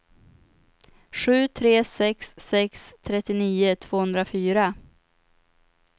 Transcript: sju tre sex sex trettionio tvåhundrafyra